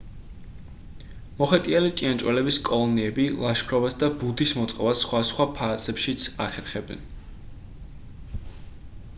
მოხეტიალე ჭიანჭველების კოლონიები ლაშქრობას და ბუდის მოწყობას სხვადასხვა ფაზებშიც ახერხებენ